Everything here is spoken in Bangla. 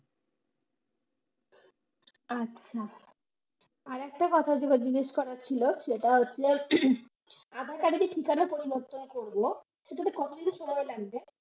আচ্ছা, আর একটা কথা যেটা জিজ্ঞাসা করার ছিল সেটা হচ্ছে aadhaar card কি ঠিকানা পরিবর্তন করব ওটাতে কতদিন সময় লাগবে?